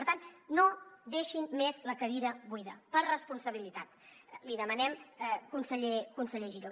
per tant no deixin més la cadira buida per responsabilitat l’hi demanem conseller giró